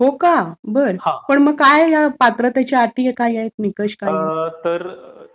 हो का? बरं. तर काय मग ह्या पात्रतेच्या अटी काय आहेत? निकष काय आहेत?